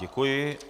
Děkuji.